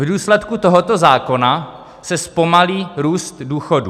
V důsledku tohoto zákona se zpomalí růst důchodů.